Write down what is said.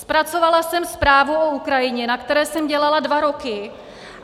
Zpracovala jsem zprávu o Ukrajině, na které jsem dělala dva roky.